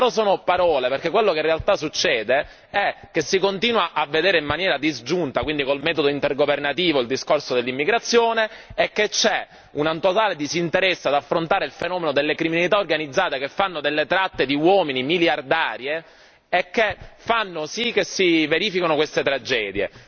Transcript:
Però sono parole, perché quello che in realtà succede è che si continua a vedere in maniera disgiunta, quindi col metodo intergovernativo, il discorso dell'immigrazione e che c'è un totale disinteresse ad affrontare il fenomeno delle criminalità organizzate che fanno delle tratte di uomini miliardarie e che fanno sì che si verifichino queste tragedie.